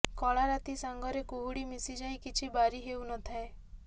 କଳା ରାତି ସାଙ୍ଗରେ କୁହୁଡ଼ି ମିଶିଯାଇ କିଛି ବାରି ହେଉ ନ ଥାଏ